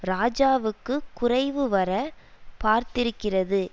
ராஜாவுக்குக் குறைவுவரப் பார்த்திருக்கிறது